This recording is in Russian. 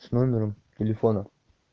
с номером телефона